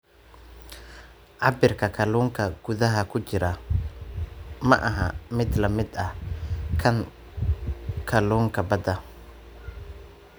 Cabirka kalluunka gudaha ku jira maaha mid la mid ah kan kalluunka badda.